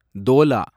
தோலா